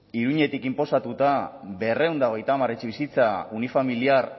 iruñetik inposatuta berrehun eta hogeita hamar etxebizitza unifamiliar